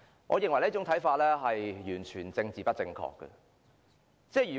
我認為這說法完全政治不正確。